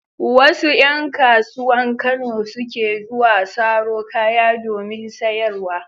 Wasu ƴan kasuwan Kano suke zuwa saro kaya domin sayarwa.